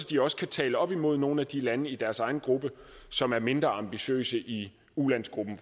de også kan tale op imod nogle af de lande i deres egen gruppe som er mindre ambitiøse i ulandsgruppen